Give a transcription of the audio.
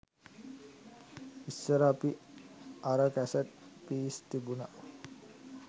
ඉස්සර අපි අර කැසට් පීස් තිබුණ